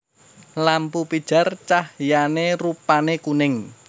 Lampu pijar cahyané rupané kuning